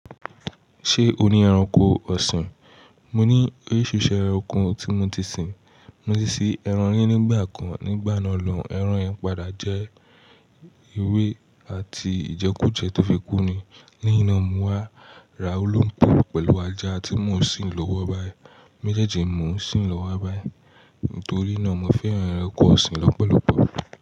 Ṣé o ní ẹranko ọ̀sìn? Mo ní, oríṣìíríṣìí ẹranko tí mo ti sìn. Mo ti ṣí ẹran ri nígbà kan, nígbà náà lọun, ẹran yẹn padà jẹ́ ewé àti Ìjẹkújẹ́ tó fi kú ni. Leyin na mi wá ra olóńgbò pẹ̀lú ajá tí mo sì ń lọ́wọ́ báyìí. Méjèèjì mo ń sì lọ́wọ́ báyìí, nítorí náà mo fẹ́ràn ẹranko ọ̀sìn lọ́pọ̀lọpọ̀.